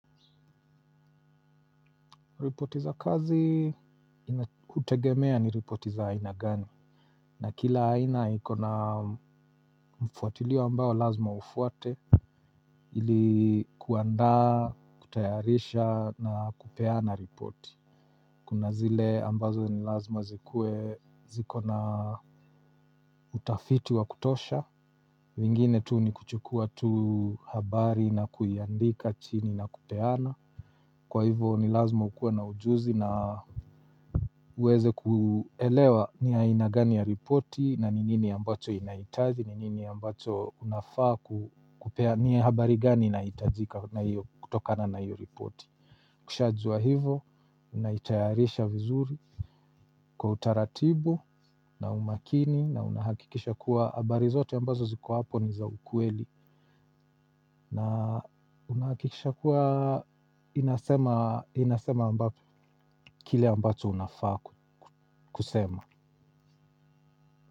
Ripoti za kazi ina hutegemea ni ripoti za aina gani na kila aina iko na mfuatiliyo ambayo lazima ufuate ili kuandaa kutayarisha na kupeana ripoti kuna zile ambazo ni lazima zikuwe zikona utafiti wa kutosha mengine tu ni kuchukua tu habari na kuiandika chini na kupeana. Kwa hivo ni lazima ukuwe na ujuzi na uweze kuelewa ni aina gani ya ripoti na ni nini ambacho inahitaji ni nini ambacho unafaa kupea ni habari gani inahitajika na hiyo kutokana na hiyo ripoti. Kushajua hivo unaitayarisha vizuri kwa utaratibu na umakini na unahakikisha kuwa habari zote ambazo ziko hapo ni za ukweli. Na unahakikisha kuwa inasema ambacho kile ambacho unafaa kusema.